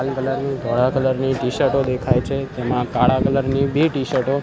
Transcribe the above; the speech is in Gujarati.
કલર ની ધોળા કલર ની ટીશર્ટો દેખાય છે તેમા કાળા કલર ની બે ટીશર્ટો --